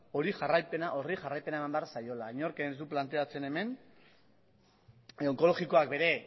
horri jarraipena eman behar zaiola inork ez du planteatzen hemen onkologikoak bere